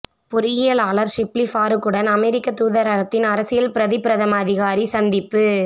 பொறியியலாளர் ஷிப்லி பாறூக்குடன் அமெரிக்க தூதரகத்தின் அரசியல் பிரதி பிரதம அதிகாரி சந்திப்பு